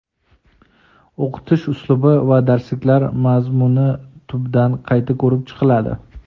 o‘qitish uslubi va darsliklar mazmuni tubdan qayta ko‘rib chiqiladi.